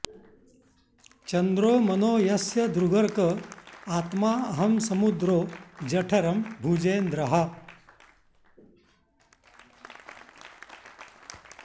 चन्द्रो मनो यस्य दृगर्क आत्मा अहं समुद्रो जठरं भुजेन्द्रः